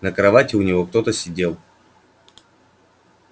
на кровати у него кто-то сидел